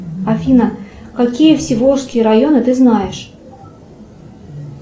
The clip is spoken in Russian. афина какие всеволжские районы ты знаешь